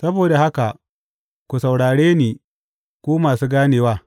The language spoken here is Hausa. Saboda haka ku saurare ni, ku masu ganewa.